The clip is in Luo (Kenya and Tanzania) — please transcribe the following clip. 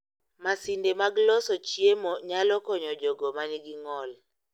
Masinde mag loso chiemo nyalo konyo jogo manigi ng'ol